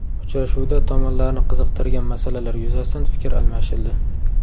Uchrashuvda tomonlarni qiziqtirgan masalalar yuzasidan fikr almashildi.